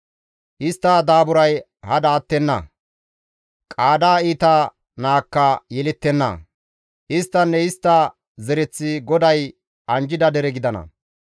Istta daaburay hada attenna; qaada iita naakka yelettenna; isttinne istta zereththi GODAY anjjida dere gidana.